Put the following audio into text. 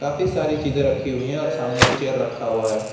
काफी सारी चीजे रखी हुई है और सामने एक चेयर रखा हुआ है।